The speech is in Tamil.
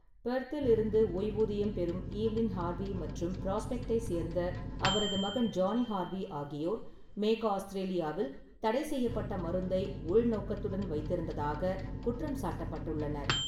பெர்த்தில் இருந்து ஓய்வூதியம் பெறும் ஈவ்லின் ஹார்வி மற்றும் பிராஸ்பெக்டைச் சேர்ந்த அவரது மகன் ஜானி ஹார்வி ஆகியோர் மேற்கு ஆஸ்திரேலியாவில் "தடைசெய்யப்பட்ட மருந்தை உள்நோக்கத்துடன் வைத்திருந்ததாக" குற்றம் சாட்டப்பட்டுள்ளனர்.